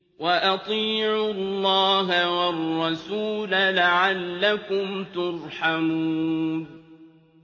وَأَطِيعُوا اللَّهَ وَالرَّسُولَ لَعَلَّكُمْ تُرْحَمُونَ